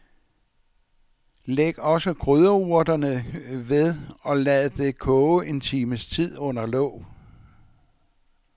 Læg også krydderurterne ved og lad det koge en times tid under låg.